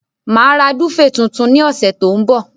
Màá ra dúféè tuntun ní ọ̀sẹ̀ tó ń bọ̀.